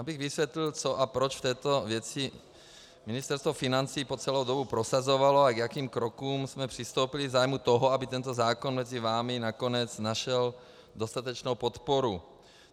Abych vysvětlil, co a proč v této věci Ministerstvo financí po celou dobu prosazovalo a k jakým krokům jsme přistoupili v zájmu toho, aby tento zákon mezi vámi nakonec našel dostatečnou podporu.